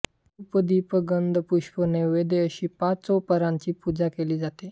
धूप दिप गंध पुष्प नैवेद्य अशी पंचोपचाराची पूजा केली जाते